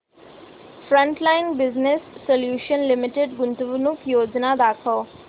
frontline business solutions limited गुंतवणूक योजना दाखव